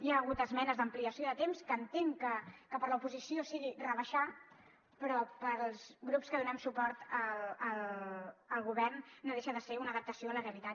hi ha hagut esmenes d’ampliació de temps que entenc que per a l’oposició sigui rebaixar però per als grups que donem suport al govern no deixa de ser una adaptació a la realitat